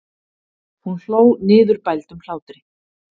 Hún hló niðurbældum hlátri.